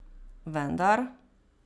Vendar ...